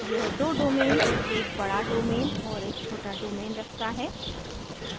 यह दो domains एक बड़ा domain और एक छोटा domain रखता है